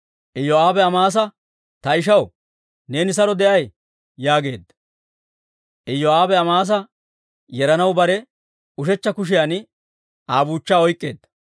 Iyoo'aabe Amaasa, «Ta ishaw, neeni saro de'ay?» yaageedda; Iyoo'aabe Amaasa yeranaw bare ushechcha kushiyan Aa buuchchaa oyk'k'eedda.